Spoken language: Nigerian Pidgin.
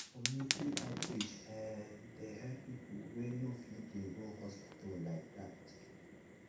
community outreach[um]dey help people wey no fit dey go hospital like that.